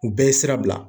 U bɛɛ ye sira bila